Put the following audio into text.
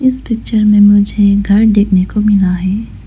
इस पिक्चर में मुझे घर देखने को मिला है।